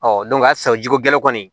sisan jiko gɛlɛn kɔni